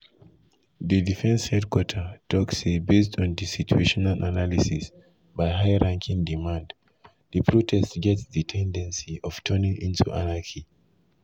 di defence headquarter tok say based on di situational analysis by high ranking command di protest get di ten dency of turning into anarchy.